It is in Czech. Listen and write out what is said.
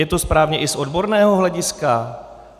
Je to správně i z odborného hlediska?